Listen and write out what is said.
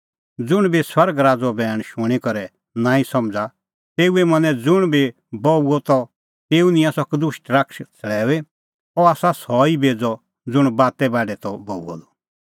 ज़ुंण बी स्वर्ग राज़ो बैण शूणीं करै नांईं समझ़ा तेऊए मनैं ज़ुंण बी बऊअ द त तेऊ निंयां सह कदुष्ट शैतान छ़ड़ैऊई अह आसा सह ई बेज़अ ज़ुंण बाते बाढै त बऊअ द